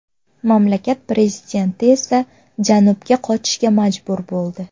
Mamlakat prezidenti esa janubga qochishga majbur bo‘ldi.